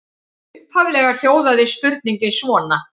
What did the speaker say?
Upphaflega hljóðaði spurningin svona: